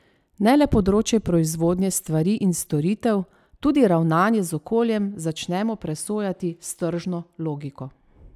Ne le področje proizvodnje stvari in storitev, tudi ravnanje z okoljem začnemo presojati s tržno logiko.